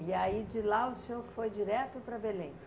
E aí de lá o senhor foi direto para Belém?